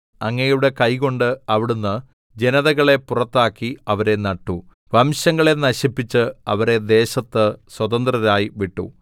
അങ്ങയുടെ കൈകൊണ്ട് അവിടുന്ന് ജനതകളെ പുറത്താക്കി അവരെ നട്ടു വംശങ്ങളെ നശിപ്പിച്ച് അവരെ ദേശത്ത് സ്വതന്ത്രരായി വിട്ടു